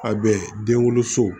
A bɛ denwoloso